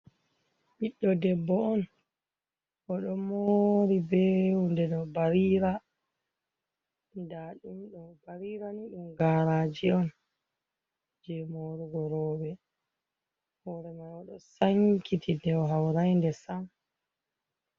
Ɓiɗɗo debbo on o ɗo moori ɓee wude ɗo barira nda ɗum ɗo, barirani ɗum gaaraji on je moorugo rooɓe, hoore mai o ɗo sankiti nde o haurai nde sam.